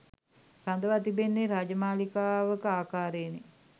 රඳවා තිබෙන්නේ රාජමාළිගාවක ආකාරයෙනි.